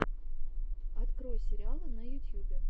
открой сериалы на ютьюбе